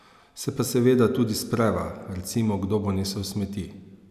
Se pa seveda tudi spreva, recimo kdo bo nesel smeti.